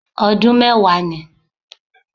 Ọdún mẹ́wàá ni